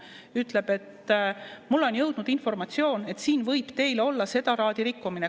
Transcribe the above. Ütleb: "Mulle on jõudnud informatsioon, et siin võib teil olla seda laadi rikkumine.